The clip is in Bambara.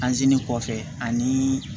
Anzini kɔfɛ ani